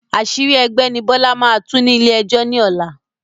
Àṣírí ẹgbẹ́ ni Bọlá máa tú ní ilé ẹjọ́ ni ọ̀la